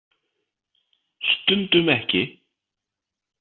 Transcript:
Stundum ekki.